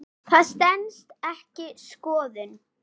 Það stenst ekki skoðun.